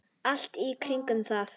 Allt í kringum það.